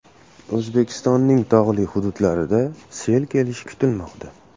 O‘zbekistonning tog‘li hududlarida sel kelishi kutilmoqda.